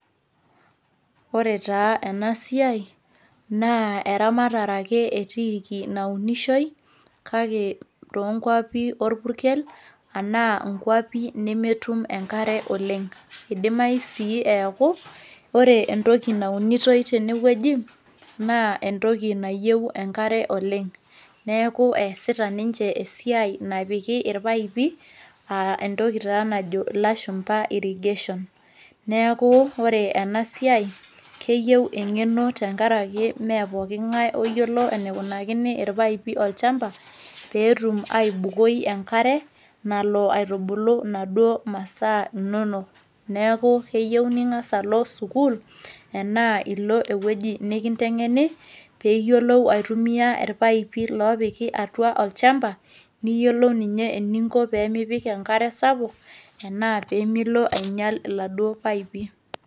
ore taa ena siai naa eramatare ake etiiki naunishoi, kake too nkwapi orpukel anaa inkuapi nemetum enekare oleng, idimayu sii neeku ore entoki naunitoi tene wueji, naa entoki nayieu enkare oleng. neeku eesita ninche esiai napiki irpaipi, entoki taa najo lashumpa irrigation, neeku ore ena siai, keyieu engeno tenkaraki ime pooking'ae oyiolo enekinuakini enkare olchampa, pee etum aibukoi enkare, nalo aitubulu inaduoo masaa inonok. neeku keyieu ning'as alo, sukuul anaa ilo ewueji nikintengeni pee iyiolou aitumia irpaipi loopiki atua olchampa. niyiolou ninye pee mipik enkare sapuk ashu milo aing'ial iladuo paipi.